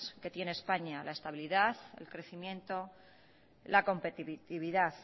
que tiene españa la estabilidad el crecimiento la competitividad